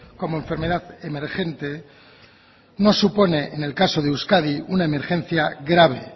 como enfermedad emergente no supone en el caso de euskadi una emergencia grave